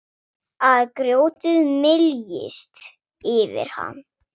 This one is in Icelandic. Að grjótið myljist yfir hann.